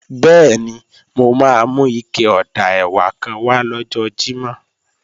Bẹ́ẹ̀ni, mo máa mú ike ọ̀dà ẹ̀wà kan wá lọ́jọ́ Jímọ̀